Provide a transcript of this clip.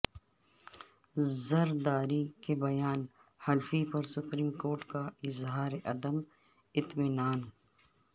زرداری کے بیان حلفی پر سپریم کورٹ کا اظہار عدم اطمینان